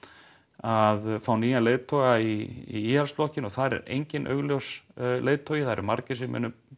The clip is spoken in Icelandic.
að fá nýjan leiðtoga í Íhaldsflokkinn og þar er enginn augljós leiðtogi það eru margir sem munu